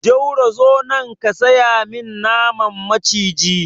Jauro zo nan ka saya min naman maciji!